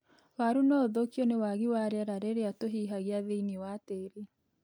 Waru no ũthũkio nĩ wagi wa rĩera rĩrĩa tũhihagia thĩiniĩ wa tĩĩri.